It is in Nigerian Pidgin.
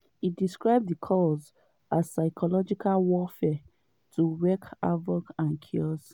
e describe di calls as “psychological warfare to wreak havoc and chaos”.